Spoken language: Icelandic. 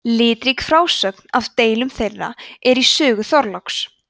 litrík frásögn af deilum þeirra er í sögu þorláks